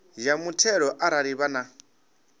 ya muthelo arali vha na